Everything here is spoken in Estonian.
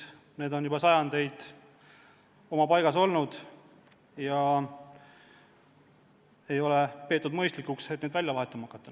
Need on juba sajandeid oma paigas olnud ja ei ole peetud mõistlikuks neid välja vahetama hakata.